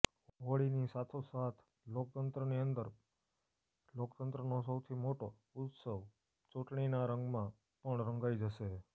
હોળીની સાથોસાથ લોકતંત્રની અંદર લોકતંત્રનો સૌથી મોટો ઉત્સવ ચૂંટણીના રંગમાં પણ રંગાઇ જશે